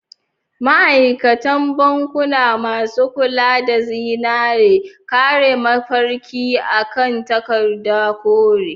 Ma'aikatan bankunamasu kula da zinare, kare mafarki a kan takarda kore.